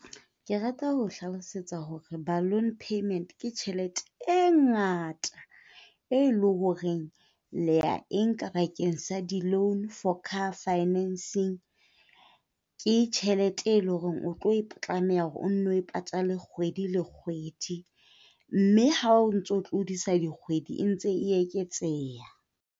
Ke rata ho o hlalosetsa hore balloon payment ke tjhelete e ngata, e le ho reng le ya e nka bakeng sa di-loan for car financing. Ke tjhelete, e le ho reng o tlo tlameha hore o nno e patale kgwedi le kgwedi, mme ha o ntso tlodisa dikgwedi e ntse e eketseha.